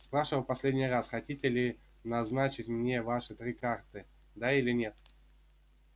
спрашиваю в последний раз хотите ли назначить мне ваши три карты да или нет